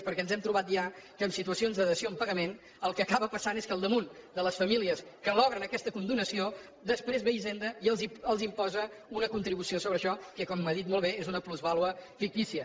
perquè ens hem trobat ja que en situacions de dació amb pagament el que acaba passant és que al damunt de les famílies que obtenen aquesta condonació després ve hisenda i els imposa una contribució sobre això que com ha dit molt bé és una plusvàlua fictícia